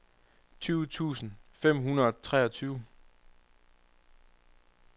tyve tusind fem hundrede og treogtyve